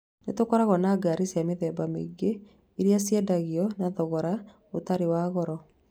Ni tũkoragwo na ngari cia mĩthemba mĩingĩ iria iendagio na thogora ĩtarĩ ya goro